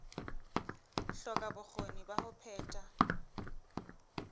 hloka bokgoni ba ho phetha